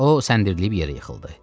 O səndəlib yerə yıxıldı.